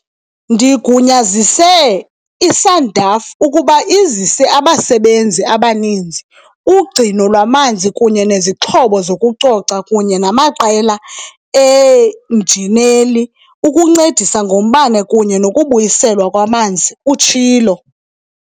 "Ndigunyazise i-SANDF ukuba izise abasebenzi abaninzi, ugcino lwamanzi kunye nezixhobo zokucoca kunye namaqela eenjineli ukuncedisa ngombane kunye nokubuyiselwa kwamanzi," utshilo.